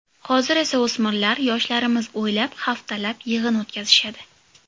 Hozir esa o‘smirlar, yoshlarimiz oylab, haftalab yig‘in o‘tkazishadi.